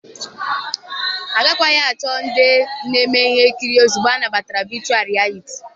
Agakwaghị achọ ndị na-eme ihe nkiri ozugbo anabatara vechụal rịyaliti